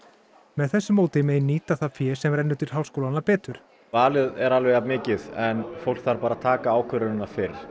með þessu móti megi nýta það fé sem rennur til háskólanna betur valið er alveg jafn mikið en fólk þarf að taka ákvörðunina fyrr